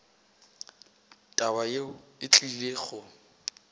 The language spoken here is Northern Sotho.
taba yeo e tlile go